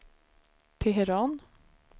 Teheran